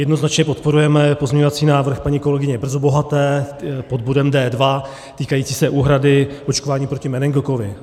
Jednoznačně podporujeme pozměňovací návrh paní kolegyně Brzobohaté pod bodem D2, týkající se úhrady očkování proti meningokoku.